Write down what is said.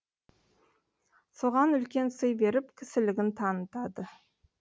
соған үлкен сый беріп кісілігін танытады